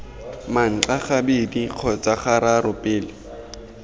manxa gabedi kgotsa gararo pele